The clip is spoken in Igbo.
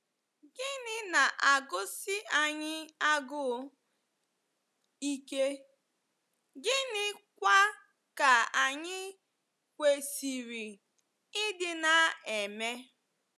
Gịnị na-agụsi anyị agụụ ike, gịnịkwa ka anyị kwesịrị ịdị na-eme?